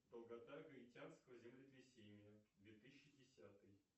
долгота гаитянского землетрясения две тысячи десятый